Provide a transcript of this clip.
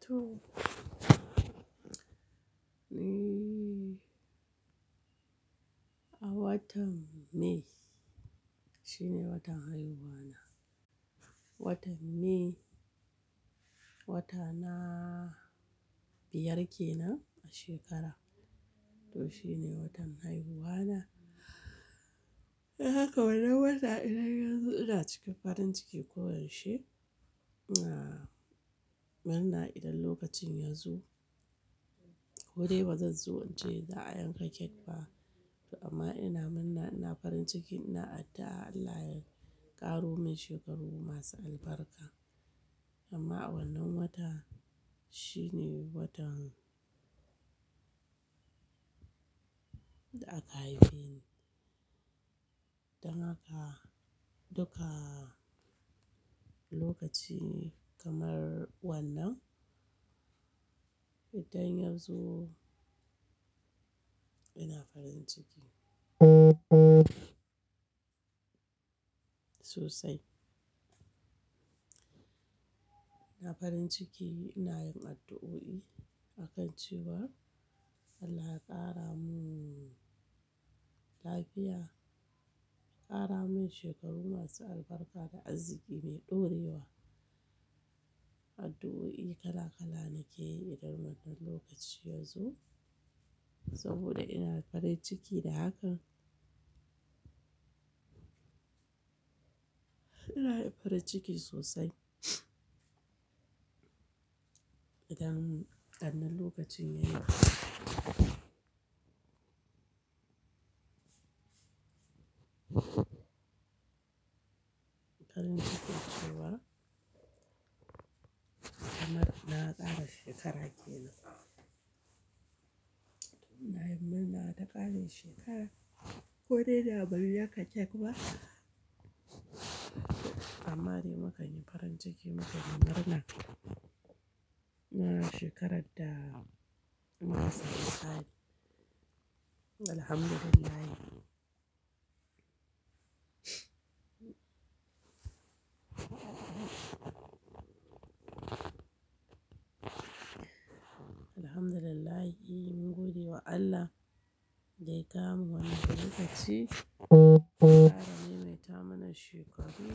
To. A watan May shine watan haihuwana. Watan May wata na biyar kenan a shekara to shine watan haihuwana. Haka wannan wata idan yazo ina cikin farin ciki ko yaushe ina murna idan lokacin ya zo. Koɗai bazan so ince za'a yanka cake ba to amma ina murna ina farin ciki ina addu'a Allah ya ƙaro min shekarun masu albarka. Amma wannan wata shine watan da aka haife ni don haka duka lokaci kamar wannan idan ya zo ina farin ciki. Sosai. Ina farin ciki ina yin addu'o'i akan cewa Allah ya ƙara mun lafiya, ƙara min shekaru masu albarka da arziki mai ɗorewa. Addu'o'i kala kala nake yi idan wannan lokaci ya zo saboda ina farin ciki da haka. Ina farin ciki sosai. Idan wannan lokacin ya farin ciki cewa kamar na ƙara shekara kenan. To ina yin murna da ƙarin shekara ko dai ba mu yanka cake ba amma dai mu kanyi farin ciki mu kanyi murna. Na shekarar da mun rasa kai. Alhamdulillah. Alhamdulillah, yi godiya wa Allah da ya kawo mu wannan lokaci. Kara maimata mana shekaru,